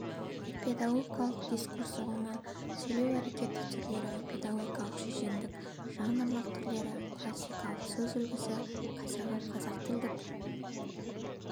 педагогикалық дискурс ұғымы сөйлеу әрекеті түрлері педагогикалық шешендіктің жанрлық түрлері классикалық сөз үлгісі қазіргі қазақ тілдік